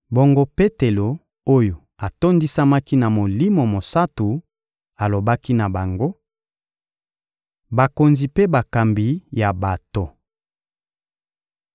Bongo, Petelo oyo atondisamaki na Molimo Mosantu alobaki na bango: — Bakonzi mpe bakambi ya bato!